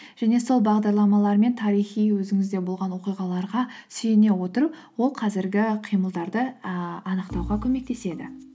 және сол бағдарламалармен тарихи өзіңізде болған оқиғаларға сүйене отырып ол қазіргі қимылдарды ііі анықтауға көмектеседі